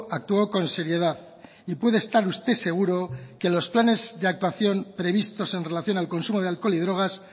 actuó con seriedad y puede estar usted seguro que los planes de actuación previstos en relación al consumo de alcohol y drogas